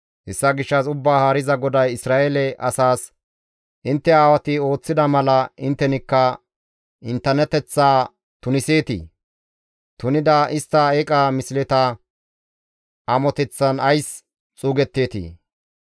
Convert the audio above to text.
Hessa gishshas, «Ubbaa Haariza GODAY Isra7eele asaas, ‹Intte aawati ooththida mala inttenikka inttenateththaa tuniseetii? Tunida istta eeqa misleta amoteththan ays xuugeteetii?